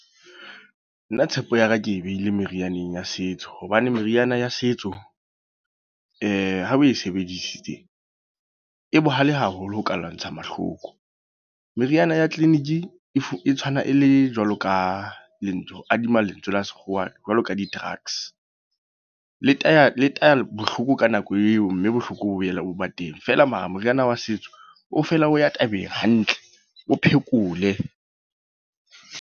Nna tshepo ya ka ke e behile merianeng ya setso. Hobane meriana ya setso ha o e sebedisitse. E bohale haholo ho ka lwantsha mahloko. Meriana ya clinic e e tshwana e le jwalo ka. Ke kadimang lentswe la sekgowa jwalo ka di-drugs. Le taya, le taya bohloko ka nako eo, mme bohloko bo boela bo ba teng. Feela mara moriana wa setso, o fela o ya tabeng hantle. O phekole.